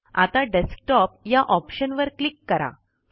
आता डेस्कटॉप या ऑप्शनवर क्लिक करा